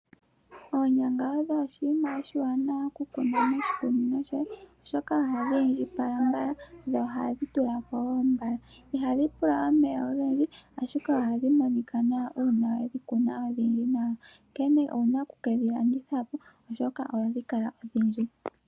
Oonyanga odho oshinima oshiwanawa okukuna moshikunino shoye , oshoka ohadhi indjipala mbala , dho ohadhi tulako wo mbala. Ihadhi pula omeya ogendji, ashike ohadhi monika nawa uuna wedhi kuna odhindji nawa, onkene owuna okukedhi landithapo ohadhi kala odhindji.